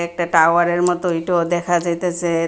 একটা টাওয়ারের মতো ইটও দেখা যাইতেছে।